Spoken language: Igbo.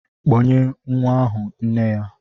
Kpọnye nwa ahụ nne ya!